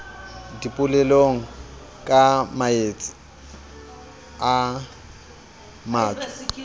dipolelong ka maetsi a matso